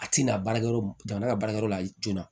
A tɛna baarakɛyɔrɔ jamana ka baarakɛyɔrɔ la joona